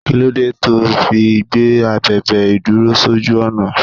Kí ló dé to fi gbé abèbè ìdúró sójú ọ̀nà?